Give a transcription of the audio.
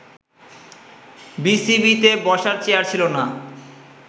বিসিবিতে বসার চেয়ার ছিলো না